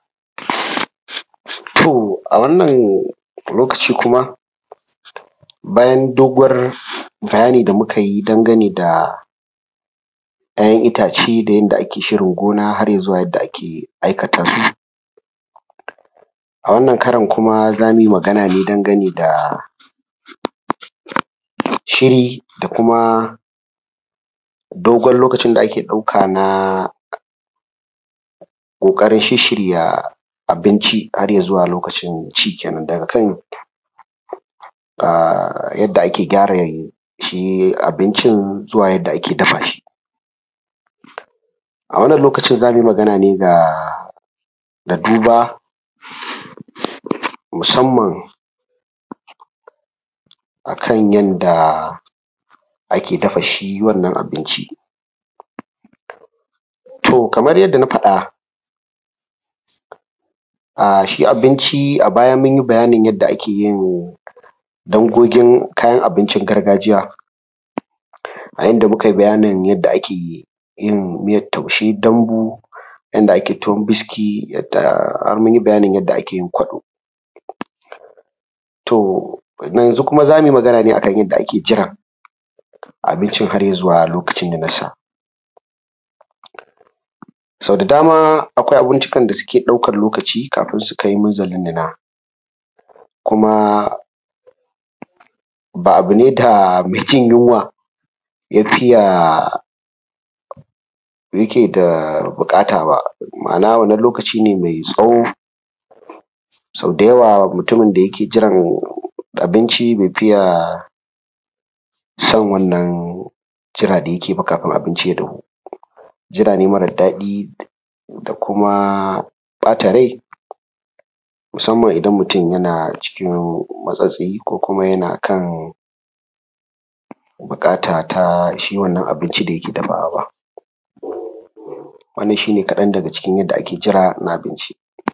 To, a wannan lokaci kuma, bayan doguwar bayani da muka yi dangane da ‘ya’yan itace da yanda ake shirin gona har ya zuwa yadda ake aikata su. A wannan karon kuma za mui magana ne dangane da shiri da kuma dogon lokacin da ake ɗauka na ƙoƙarin shisshirya abinci har ya zuwa lokacin ci kenan, daga kan a yadda ake gyara shi abincin zuwa yadda ake dafa shi. A wannan lokacin za mu yi magana ne ga da duba musamman a kan yanda ake dafa shi wannan abinci. To kamar yanda na faɗa, a shi abinci a baya mun yi bayanin yadda ake yin dangogin kayan abincin gargajiya, a inda mu kai bayanin yadda ake yi; yin miyat taushe, dambu, yanda ake tuwon biski, yadda; har mun yi bayanin yadda ake yin kwaɗo, to yanzu kuma za mu yi magana ne a kan yadda ake jiran abincin har ya zuwa lokacin ninas sa. Sau da dama akwai abincikan da suke ɗaukan lokaci kafin su kai minzalin nina, kuma ba abu ne da me jin yunwa ya fiya; yake da buƙata ba, ma’ana wannan lokaci ne mai tsawo, sau da yawa mutumin da yake jiran abinci be fiya san wannan jira da yake ba kafin abinci ya dahu, jira ne marad daɗi da kuma ƃata rai musamman idan mutun yana cikin matsatsi ko kuma yana kan biƙata ta shi wannan abinci da yake dafawa ba, wannan shi ne kaɗan daga cikin yadda ake jira na abinci.